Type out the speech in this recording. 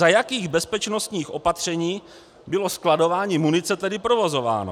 Za jakých bezpečnostních opatření bylo skladování munice tedy provozováno?